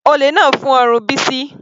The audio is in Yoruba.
Olè náà fún ọrùn Bisi.